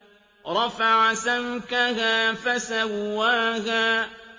رَفَعَ سَمْكَهَا فَسَوَّاهَا